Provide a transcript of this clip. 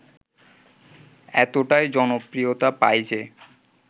এতটাই জনপ্রিয়তা পায় যে